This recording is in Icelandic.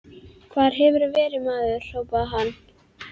Hvar hefurðu verið, maður? hrópaði hann.